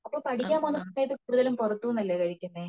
അപ്പൊ പഠിക്കാൻ വന്ന സമയത് കൂടുതലും പുറത്തു നിന്നല്ലേ കഴിക്കുന്നത്